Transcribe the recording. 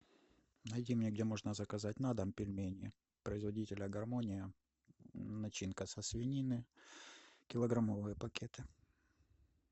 найди мне где можно заказать на дом пельмени производителя гармония начинка со свинины килограммовые пакеты